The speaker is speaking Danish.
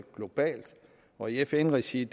globalt og i fn regi er